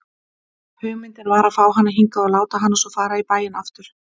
Hugmyndin var að fá hana hingað og láta hana svo fara í bæinn aftur.